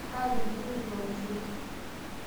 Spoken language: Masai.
aatorikine eitu aoshoki